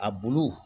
A bulu